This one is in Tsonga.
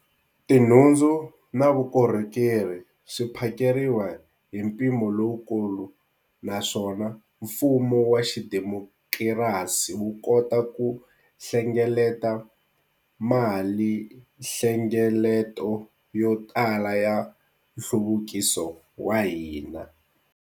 Tinhundzu na vukorhokeri swi phakeriwa hi mpimo lowukulu naswona mfumo wa xidemokirasi wu kota ku hlengeleta malinhlengeleto yo tala ya nhluvukiso wa hina.